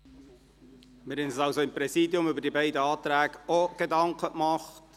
Wir haben uns seitens des Präsidiums auch Gedanken zu den beiden Anträgen gemacht.